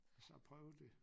Så prøve det